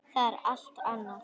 Það er allt annað.